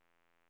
uppåt bakåt